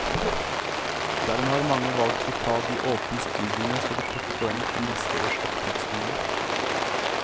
Dermed har mange valgt å ta de åpne studiene for å plukke poeng til neste års opptaksrunde.